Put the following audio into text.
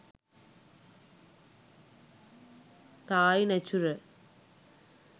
thai natural